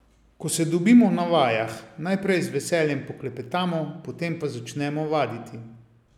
Ko se dobimo na vajah, najprej z veseljem poklepetamo, potem pa začnemo vaditi.